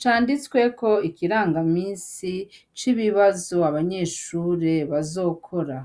canditsweko ikirangamisi c'ibibazo abanyeshure bazokora.